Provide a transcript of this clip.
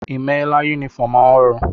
Ị mela yunifọọm ọhụrụ?